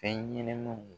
Fɛn ɲɛnɛmanw